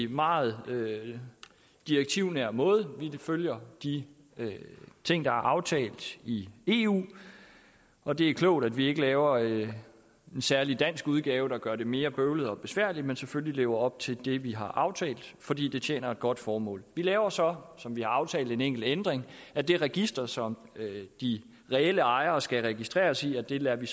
meget direktivnær måde vi følger de ting der er aftalt i eu og det er klogt at vi ikke laver en særlig dansk udgave der gør det mere bøvlet og besværligt men selvfølgelig lever op til det vi har aftalt fordi det tjener et godt formål vi laver så som vi har aftalt en enkelt ændring af det register som de reelle ejere skal registreres i og det lader vi